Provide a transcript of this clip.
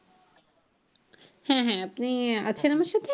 হ্যাঁ হ্যাঁ আপনি আছেন আমার সাথে?